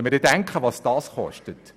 Überlegen Sie sich, was das kostet.